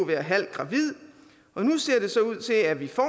være halvt gravid nu ser det så ud til at vi får